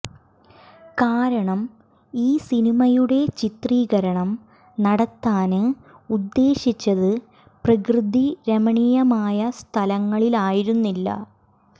കാരണം ഈ സിനിമയുടെ ചിത്രീകരണം നടത്താന് ഉദ്ദേശിച്ചത് പ്രകൃതി രമണീയമായ സ്ഥലങ്ങളായിരുന്നില്ല